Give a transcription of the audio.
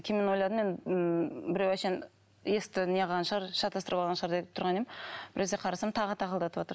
кейін ойладым мен ммм біреу әншейін есікті не қылған шығар шатастырып алған шығар деп тұрған едім біресе қарасам тағы тақылдатыватыр